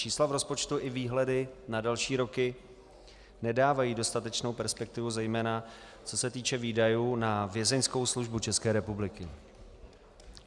Čísla v rozpočtu i výhledy na další roky nedávají dostatečnou perspektivu, zejména co se týče výdajů na Vězeňskou službu České republiky.